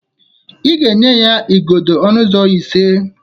Ị ga-enye ya igodo ọnụ ụzọ ise!